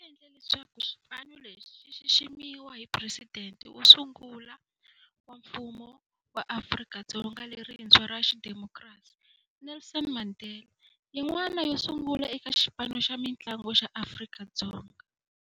Ku humelela loku ku endle leswaku xipano lexi xi xiximiwa hi Presidente wo sungula wa Mfumo wa Afrika-Dzonga lerintshwa ra xidemokirasi, Nelson Mandela, yin'wana yo sungula eka xipano xa mintlangu xa Afrika-Dzonga.